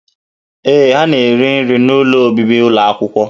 Ee, ha na-eri nri n'ụlọ obibi ụlọ akwụkwọ